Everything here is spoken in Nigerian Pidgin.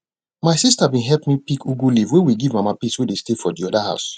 my sister bin help me pick ugu leaf wey we give mama peace wey dey stay for de other house